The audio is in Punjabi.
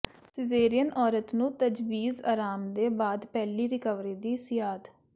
ਸਜੇ਼ਰੀਅਨ ਔਰਤ ਨੂੰ ਤਜਵੀਜ਼ ਆਰਾਮ ਦੇ ਬਾਅਦ ਪਹਿਲੀ ਰਿਕਵਰੀ ਦੀ ਮਿਆਦ